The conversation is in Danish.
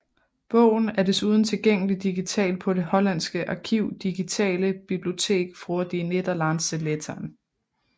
Bogen er desuden tilgængelig digitalt på det hollandske arkiv Digitale Bibliotheek voor de Nederlandse letteren